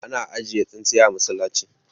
ana ajiye tsintsiya a masallaci